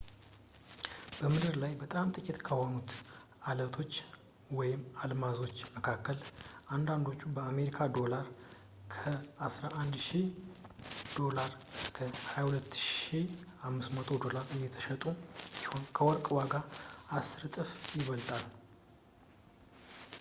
በምድር ላይ በጣም ጥቂት ከሆኑት ዐለቶች/አልማዞች መካከል አንዳንዶቹ በአሜሪካን ዶላር ከ us$11,000 ዶላር እስከ $22,500 ዶላር እየተሸጡ ሲሆን ከወርቅ ዋጋ በአስር እጥፍ ይበልጣል